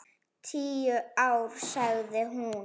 Tíu ár, sagði hún.